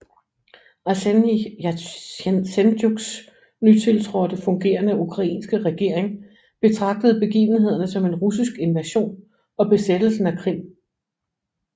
Arsenij Jatsenjuks nytiltrådte fungerende ukrainske regering betragtede begivenhederne som en russisk invasion og besættelse af Krim